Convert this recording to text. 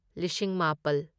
ꯂꯤꯁꯤꯡ ꯃꯥꯄꯜ